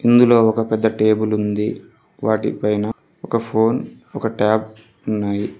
ఇందులో ఒక పెద్ద టేబులుంది వాటిపైన ఒక ఫోన్ ఒక ట్యాబ్ ఉన్నాయి.